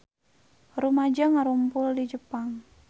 Rumaja ngarumpul di Jepang